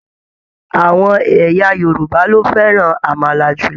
Àwọn ẹ̀yà Yorùbá lo fẹràn amala jùlọ.